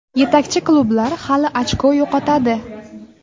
Yetakchi klublar hali ochko yo‘qotadi.